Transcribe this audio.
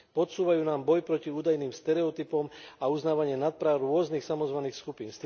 Podsúvajú nám boj proti údajným stereotypom a uznávanie nadpráv rôznych samozvaných skupín.